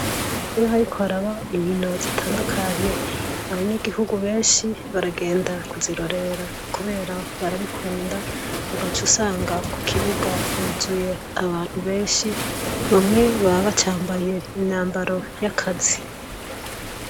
Iyo hariko haraba inkino zitandukanye, abanyagihugu benshi baragenga kuzirorera. Kubera barabikunda, ugaca usanga kukibuga huzuye abantu benshi, bamwe baba bacambaye imyambaro y'akazi.